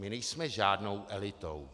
My nejsme žádnou elitou.